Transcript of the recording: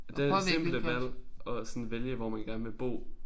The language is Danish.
At det er det simple valg at sådan vælge hvor man gerne vil bo